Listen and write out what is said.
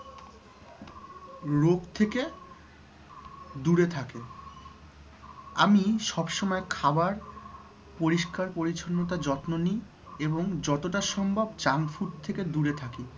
রোগ থেকে দূরে থাকে । আমি সবসময় খাবার পরিস্কার পরিছন্নতার যত্ন নিই এবং যতটা সম্ভব junk food থেকে দূরে থাকি ।